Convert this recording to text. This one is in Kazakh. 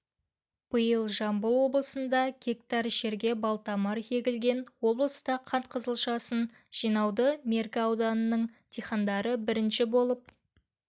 биыл жамбыл облысында гектар жерге балтамыр егілген облыста қант қызылшасын жинауды меркі ауданының диқандары бірінші болып